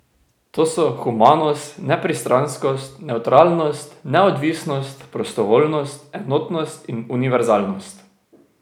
To so humanost, nepristranskost, nevtralnost, neodvisnost, prostovoljnost, enotnost in univerzalnost.